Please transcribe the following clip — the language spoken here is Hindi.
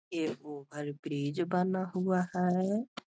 ये ओवर ब्रिज बना हुआ है।